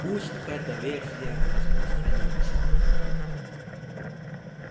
пусть эта версия распространится